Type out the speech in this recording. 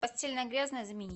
постельное грязное заменить